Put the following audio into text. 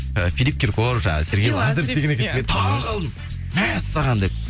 ы филип киркоров жаңа сергей лазарев деген екенсіз мен таңқалдым мә саған деп